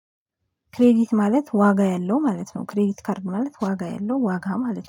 ክሬዲት ማለት ዋጋ ያለው ማለት ነው። ክሬዲት ካርድ ማለት ዋጋ ያለው ዋጋ ማለት ነው